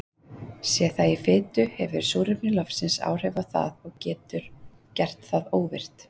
Sé það í fitu hefur súrefni loftsins áhrif á það og getur gert það óvirkt.